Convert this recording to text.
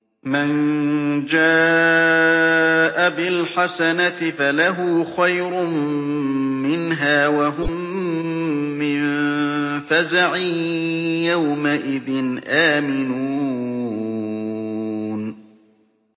مَن جَاءَ بِالْحَسَنَةِ فَلَهُ خَيْرٌ مِّنْهَا وَهُم مِّن فَزَعٍ يَوْمَئِذٍ آمِنُونَ